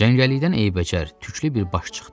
Cəngəllikdən eybəcər, tüklü bir baş çıxdı.